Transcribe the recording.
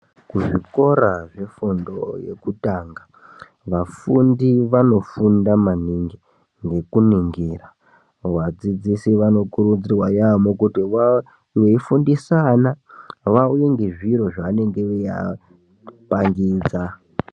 Kuzvikora zvefundo yekutanga vafundi vanofunda maningi ngekuningira vadzidzisi vanokurudzirwa yaamho. Kuti veifundisa ana vauye nezviro zvanenge veiapangidza.